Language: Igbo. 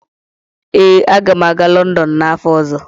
Ee, aga m aga Lọndọn n'afọ ọzọ.